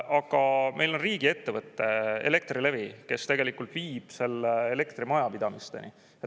Aga meil on riigiettevõte Elektrilevi, kes tegelikult viib selle elektri majapidamisteni.